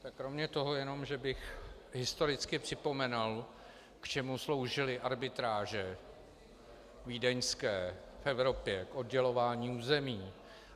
Tak kromě toho jenom, že bych historicky připomenul, k čemu sloužily arbitráže vídeňské v Evropě - k oddělování území.